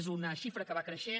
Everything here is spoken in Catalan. és una xifra que va creixent